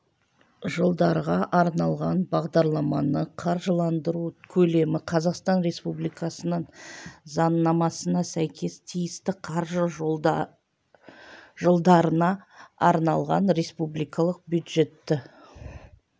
жылдарға арналған бағдарламаны қаржыландыру көлемі қазақстан республикасының заңнамасына сәйкес тиісті қаржы жылдарына арналған республикалық бюджетті